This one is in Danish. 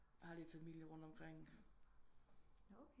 Har lidt familie rundt omkring